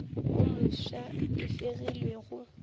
wo mofsa e fegilwe go